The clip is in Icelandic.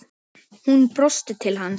Hún brosti til hans.